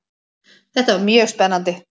Þetta var mjög spennandi.